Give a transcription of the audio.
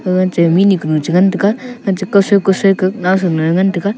gag chai mihnu ku cha ngan taiga --